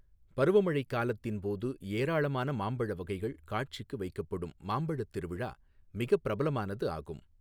பருவமழைக் காலத்தின்போது ஏராளமான மாம்பழ வகைகள் காட்சிக்கு வைக்கப்படும் மாம்பழத் திருவிழா மிகப் பிரபலமானது ஆகும்.